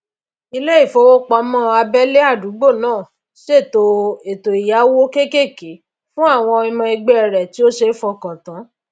ilé ìfowópamó abélé àdúgbò ná sèto èto ìyáwó kékèké fún àwon ọmọ egbé rè tí ó sé fokàn tán